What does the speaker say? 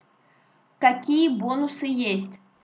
какие бонусы есть